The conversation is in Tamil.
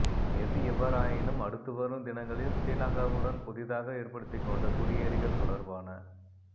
எது எவ்வாறாயினும் அடுத்துவரும் தினங்களில் ஸ்ரீலங்காவுடன் புதிதாக ஏற்படுத்திக்கொண்ட குடியேறிகள் தொடர்பான